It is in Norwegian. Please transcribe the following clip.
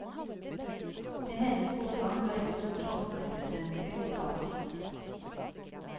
Med hennes bortgang har et stort omsorgsmenneske gått tapt.